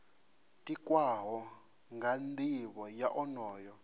tikwaho nga nivho ya onoyo